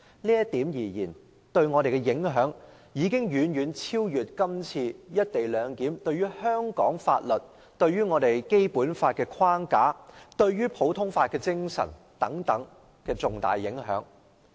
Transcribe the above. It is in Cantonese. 這對我們的影響，將遠超"一地兩檢"對香港法律、《基本法》框架及普通法精神的重大影響。